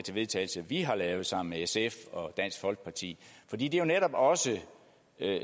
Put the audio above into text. vedtagelse vi har lavet sammen med sf og dansk folkeparti fordi det jo netop også